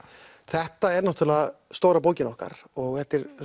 þetta er stóra bókin okkar og